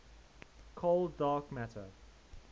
cold dark matter